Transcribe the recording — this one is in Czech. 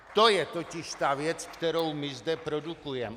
To je totiž ta věc, kterou my zde produkujeme.